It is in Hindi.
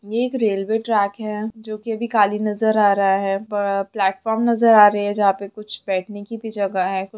ये एक रेलवे ट्रैक है जो की अभी खाली नजर आ रहा है प्लेटफार्म नजर आ रही है जहाँ पे कुछ बैठने की भी जगह है कु --